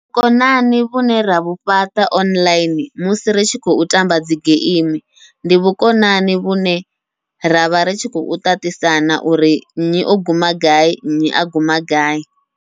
Vhukonani vhune ravhu fhaṱa online musi ri tshi khou tamba dzi geimi, ndi vhukonani vhune ravha ritshi khou ṱaṱisana uri nnyi o guma gai nnyi a guma gai.